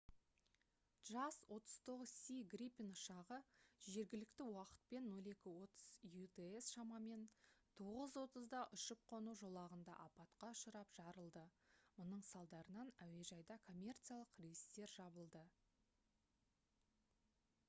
jas 39c gripen ұшағы жергілікті уақытпен 0230 utc шамамен 9:30-да ұшып-қону жолағында апатқа ұшырап жарылды. мұның салдарынан әуежайда коммерциялық рейстер жабылды